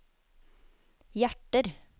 hjerter